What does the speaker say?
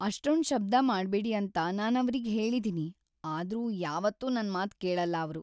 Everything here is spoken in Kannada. ಅಷ್ಟೊಂದ್ ಶಬ್ದ ಮಾಡ್ಬೇಡಿ ಅಂತ ನಾನವ್ರಿಗೆ ಹೇಳಿದೀನಿ, ಆದ್ರೂ ಯಾವತ್ತೂ ನನ್ಮಾತ್‌ ಕೇಳಲ್ಲ ಅವ್ರು.